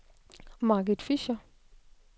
Margit Fischer